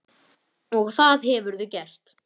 Og það hefurðu gert.